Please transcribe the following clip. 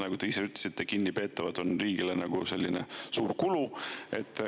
Nagu te ise ütlesite, kinnipeetavad on riigile suur kulu.